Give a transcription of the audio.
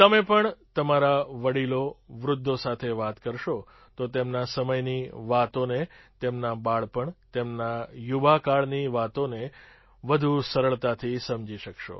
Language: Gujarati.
તમે પણ તમારા વડીલોવૃદ્ધો સાથે વાત કરશો તો તેમના સમયની વાતોને તેમના બાળપણ તેમના યુવાકાળની વાતોને વધુ સરળતાથી સમજી શકશો